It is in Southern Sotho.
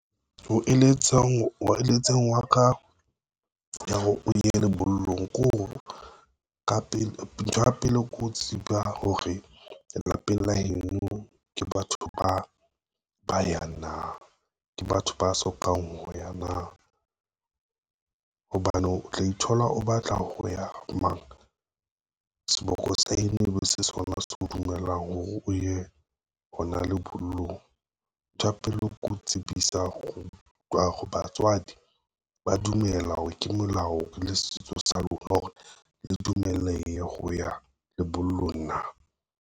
Ho eletseng hwa ka, ya hore o ye lebollong kore ntho ya pele ko tseba hore lapeng la heno ke batho ba yang na ke batho ba sokang ho ya na. Hobane o tla ithola o batla ho ya mara, seboko sa heno ebe se sona se o dumellang hore o ye hona lebollong, nthwa pele ke ho tsebisa ho batswadi ba dumela hore ke melao le setso sa lona hore le dumelehe ho ya lebollong na.